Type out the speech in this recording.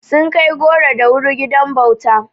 Sun kai goro da wuri gidan bauta.